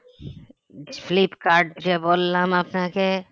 Flipkart যে বললাম আপনাকে